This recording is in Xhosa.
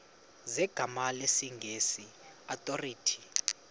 zegama lesngesn authorit